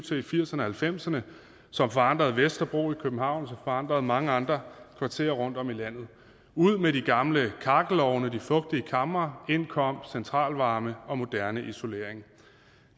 til i firserne og halvfemserne som forandrede vesterbro i københavn og forandrede mange andre kvarterer rundt om i landet ud med de gamle kakkelovne og de fugtige kamre ind kom centralvarme og moderne isolering